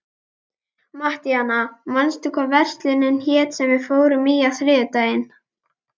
Mattíana, manstu hvað verslunin hét sem við fórum í á þriðjudaginn?